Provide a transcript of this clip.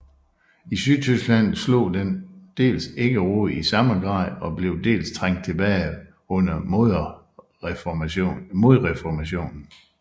I Sydtyskland slog den dels ikke rod i samme grad og blev dels trængt tilbage under modreformationen